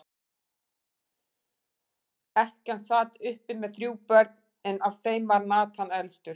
Ekkjan sat uppi með þrjú börn, en af þeim var Nathan elstur.